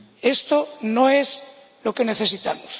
Esto no es lo que necesitamos.